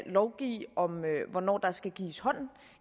lovgive om hvornår der skal gives hånd